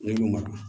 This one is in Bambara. Ne y'u madu